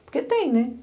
Porque tem, né?